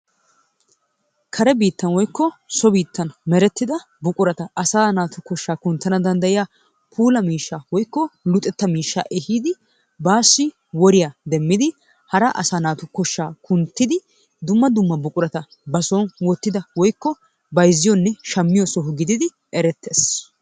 Karee bittani woyko so bittani merettidda buquratta asaa naatu koshaa kunttanawu dandayiyaa pulla mishshaa woyko luxettaa mishaa eyidi bassi woriyaa demiddi hara asa nattu koshaa kunttiddi dumma dumma buqurattaa ba sooni wotidda woyko bayziyonne shamiyoo soho giddi erettes.